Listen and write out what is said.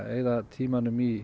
eyða tímanum í